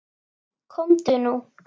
Komdu nú.